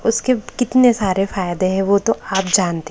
उसके कितने सारे फायदे हैं वो तो आप जानते--